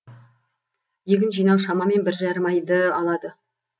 егін жинау шамамен біржарым айды алады